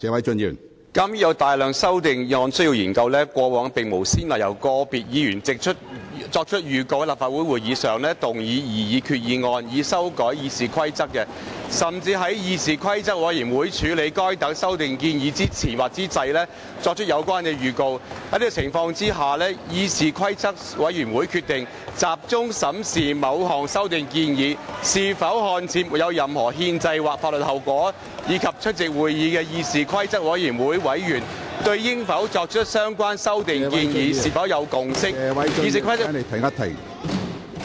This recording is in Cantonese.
鑒於有大量修訂議案需要研究，過往並無先例由個別議員作出預告，在立法會會議上動議擬議決議案以修改《議事規則》，甚至在議事規則委員會處理該等修訂建議之前或之際，作出有關的預告。在這樣的情況之下，議事規則委員會決定集中審視某項修訂建議是否看似沒有任何憲制或法律後果，以及出席會議的議事規則委員會委員對應否作出相關修訂建議有否共識，議事規則......